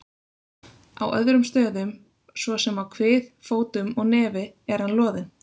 Á öðrum stöðum, svo sem á kvið, fótum og nefi er hann loðinn.